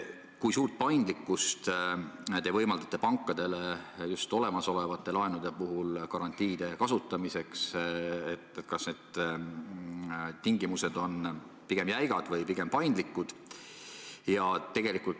Kui suurt paindlikkust te võimaldate pankadele just olemasolevate laenude puhul garantiide kasutamiseks, kas need tingimused on pigem jäigad või paindlikud?